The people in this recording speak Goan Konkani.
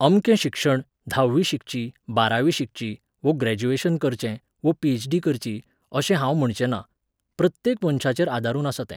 अमकें शिक्षण, धाव्वी शिकची, बारावी शिकची, वो ग्रॅजुयेशन करचें, वो पीएचडी करची अशें हांव म्हणचें ना. प्रत्येक मनशाचेर आदारून आसा तें.